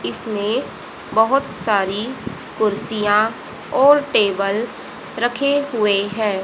इसमें बहोत सारी कुर्सियां और टेबल रखे हुए हैं।